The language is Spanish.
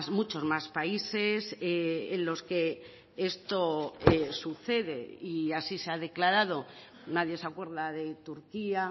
muchos más países en los que esto sucede y así se ha declarado nadie se acuerda de turquía